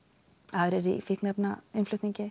aðrir í fíkniefnainnflutningi